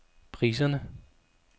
priserne